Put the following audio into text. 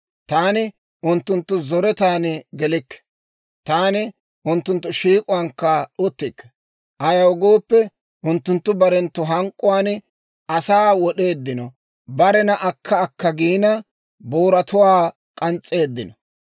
Taani unttunttu zoretan gelikke; taani unttunttu shiik'uwaankka uttikke; ayaw gooppe, unttunttu barenttu hank'k'uwaan asaa wod'eeddino barena akka akka giina, booratuwaa k'ans's'eeddino.